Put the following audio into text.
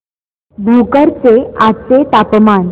भोकर चे आजचे तापमान